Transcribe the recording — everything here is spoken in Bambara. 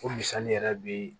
O misali yɛrɛ bɛ